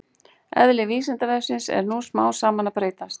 Eðli Vísindavefsins er nú smám saman að breytast.